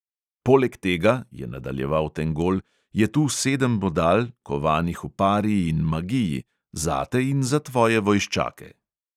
"Poleg tega," je nadaljeval tengol, "je tu sedem bodal, kovanih v pari in magiji, zate in za tvoje vojščake."